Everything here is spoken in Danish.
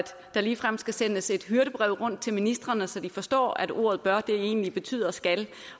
der ligefrem skal sendes et hyrdebrev rundt til ministrene så de forstår at ordet bør egentlig betyder skal